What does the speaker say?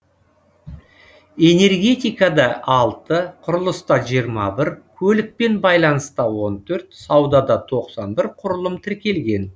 энергетикада алты құрылыста жиырма бір көлікпен байланыста он төрт саудада тоқсан бір құрылым тіркелген